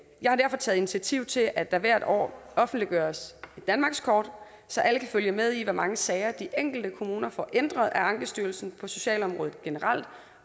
jeg har derfor taget initiativ til at der hvert år offentliggøres et danmarkskort så alle kan følge med i hvor mange sager de enkelte kommuner får ændret af ankestyrelsen på socialområdet generelt